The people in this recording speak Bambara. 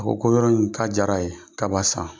A ko ko yɔrɔ in k'a diyara ye k'a b'a san,